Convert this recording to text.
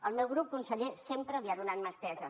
el meu grup conseller sempre li ha donat mà estesa